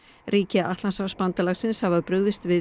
ríki Atlantshafsbandalagsins hafa brugðist við